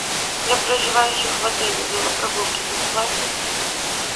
для проживающих в отеле велопрогулки бесплатны